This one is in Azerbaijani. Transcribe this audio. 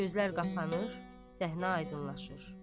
Gözlər qapanır, səhnə aydınlaşır.